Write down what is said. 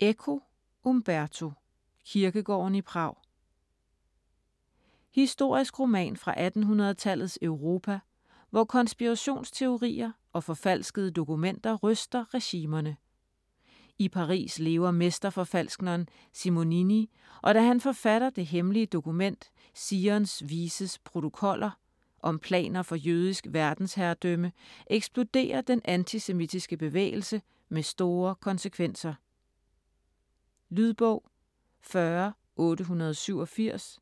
Eco, Umberto: Kirkegården i Prag Historisk roman fra 1800-tallets Europa, hvor konspirationsteorier og forfalskede dokumenter ryster regimerne. I Paris lever mesterforfalskneren Simonini, og da han forfatter det hemmelige dokument "Zions Vises Protokoller" om planer for jødisk verdensherredømme, eksploderer den antisemitiske bevægelse med store konsekvenser. Lydbog 40887